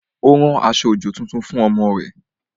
Ó ra aṣọ-òjò tuntun fún ọmọ rẹ̀